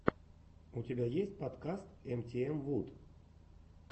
у тебя есть подкаст эмтиэмвуд